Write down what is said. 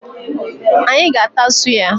Anyị ga-ata suya.